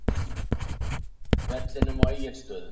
vellinum á Egilsstöðum.